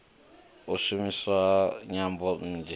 u shumiswa ha nyambo nnzhi